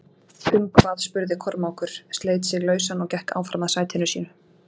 Um hvað spurði Kormákur, sleit sig lausann og gekk áfram að sætinu sínu.